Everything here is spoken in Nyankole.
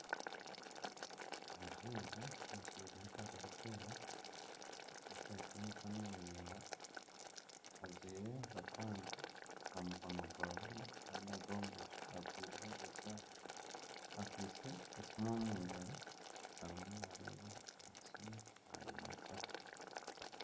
Omushaija ajwaire empare erikwera n'esaati y'emikono miraingwa. Ajwaire akakwanzi aha mukono gwa buryo kandi aha gwa bumosho ajwaireho eshaaha. Akwaitse esimu omu ngaro arimu naareeba aha simu nayimataho.